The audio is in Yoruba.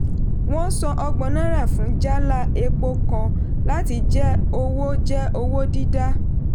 wọ́n san ọgbọn náírà fún jálá epo kan láti jẹ́ owó jẹ́ owó dídá.